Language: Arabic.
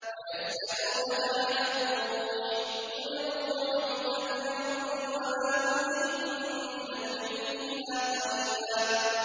وَيَسْأَلُونَكَ عَنِ الرُّوحِ ۖ قُلِ الرُّوحُ مِنْ أَمْرِ رَبِّي وَمَا أُوتِيتُم مِّنَ الْعِلْمِ إِلَّا قَلِيلًا